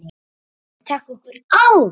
Verkið mun taka nokkur ár.